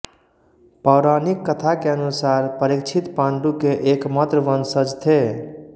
पौराणिक कथा के अनुसार परीक्षित पाण्डु के एकमात्र वंशज थे